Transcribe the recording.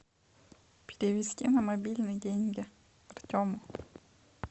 перевести на мобильный деньги артему